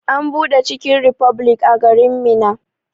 An buɗe chicken republic a garin Minna.